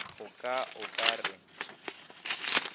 a ka o ka re